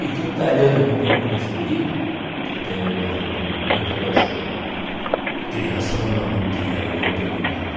E do italiano que tinha construído, que até eu me arrependo muito, lógico, criança não não não tinha arrependimento.